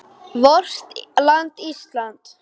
VORT LAND ÍSLAND